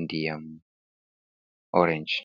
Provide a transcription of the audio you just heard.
ndiyam oorenj.